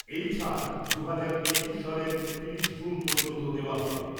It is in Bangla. এই ছাড় দু'হাজার একুশ সালের তিরিশ জুন পর্যন্ত দেওয়া হবে।